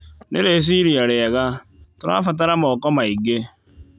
Nĩ rĩciria rĩega, tũrabatara moko maingĩ.